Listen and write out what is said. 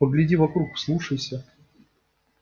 погляди вокруг вслушайся